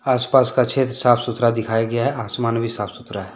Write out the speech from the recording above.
आसपास का क्षेत्र साफ सुथरा दिखाया गया है आसमान भी साफ सुथरा है।